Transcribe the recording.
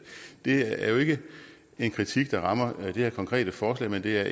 det er jo ikke en kritik der rammer det her konkrete forslag men det er